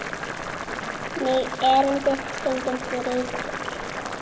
Mig erindið stundum þrýtur.